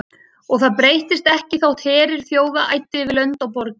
Og það breyttist ekki þótt herir þjóða æddu yfir lönd og borgir.